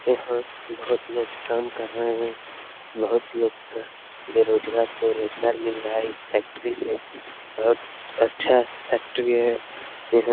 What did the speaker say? यहाँ बहोत लोग काम कर रहे हैं बहोत लोग का बेरोजगार रोजगार मिल रहा है इस फैक्ट्री से बहोत अच्छा फैक्ट्री है यहाँ।